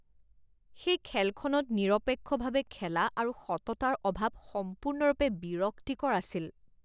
সেই খেলখনত নিৰপেক্ষভাৱে খেলা আৰু সততাৰ অভাৱ সম্পূৰ্ণৰূপে বিৰক্তিকৰ আছিল